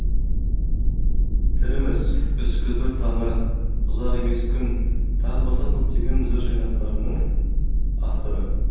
тіріміз үскідір таңы ұзақ емес күн тағы басқа көптеген жыр жинақтарының авторы